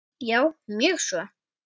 Já, mjög svo.